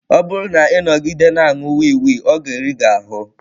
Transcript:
Ọ bụrụ na ị nọgide na-aṅụ wii wii, ọ ga-eri ahụ.